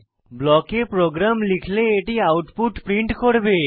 ব্লকে প্রোগ্রাম লিখলে এটি আউটপুট প্রিন্ট করবে